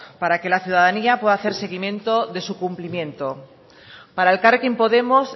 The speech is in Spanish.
para que la ciudadanía pueda hacer seguimiento de su cumplimiento para elkarrekin podemos